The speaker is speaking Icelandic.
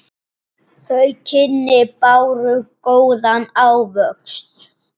Þau kynni báru góðan ávöxt.